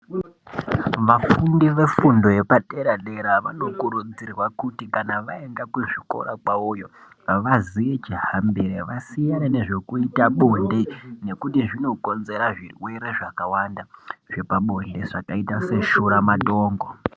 Vafundi vefundo yepadera dera vanokurudzirwa kuti kana vaenda kuzvikora kwavoyo havazijaambire vasiyane nezvekuite bonde nekuti zvinokonzera zvirwere zvakawanda zvepabonde zvakaita seshuramatongo.